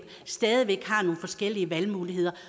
har nogle forskellige valgmuligheder